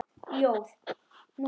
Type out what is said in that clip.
Ljóð: Númi